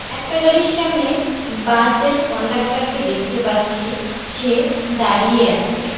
একটা গাড়ির সামনে বাসের কন্ডাক্টরকে দেখতে পাচ্ছি সে দাঁড়িয়ে আসে।